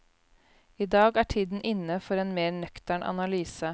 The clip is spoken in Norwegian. I dag er tiden inne for en mer nøktern analyse.